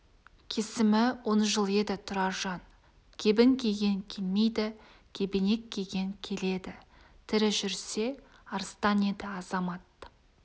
кесімі он жыл еді тұраржан кебін киген келмейді кебенек киген келеді тірі жүрсе арыстан еді азамат